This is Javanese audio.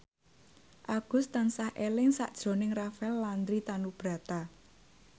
Agus tansah eling sakjroning Rafael Landry Tanubrata